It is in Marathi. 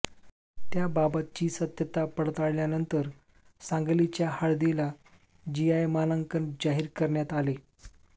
त्याबाबतची सत्यता पडताळल्यानंतर सांगलीच्या हळदीला जीआय मानांकन जाहीर करण्यात आले